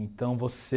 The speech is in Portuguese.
Então você...